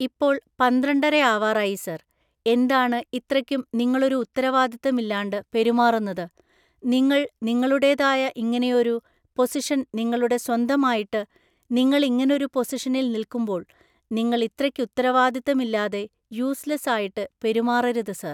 ഇപ്പൊൾ പന്ത്രണ്ടരയാവാറായി സർ. എന്താണ് ഇത്രക്കും നിങ്ങളൊരു ഉത്തരവാദിത്തം ഇല്ലാണ്ട് പെരുമാറുന്നത്? നിങ്ങള് നിങ്ങളുടേതായ ഇങ്ങനെയൊരു പൊസിഷൻ നിങ്ങളുടെ സ്വന്തമായിട്ട്, നിങ്ങളിങ്ങനൊരു പൊസിഷനിൽ നിൽക്കുമ്പോൾ നിങ്ങൾ ഇത്രക്ക് ഉത്തരവാദിത്തം ഇല്ലാതെ യൂസ്‌ലെസ്സ് ആയിട്ട് പെരുമാറരുത് സർ